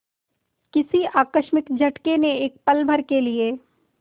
किसी आकस्मिक झटके ने एक पलभर के लिए